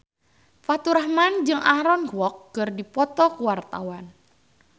Faturrahman jeung Aaron Kwok keur dipoto ku wartawan